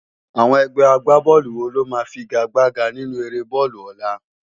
Awòn ègbè ágbábòlú wó ló má figágbágá ninú éré bòlú òlá?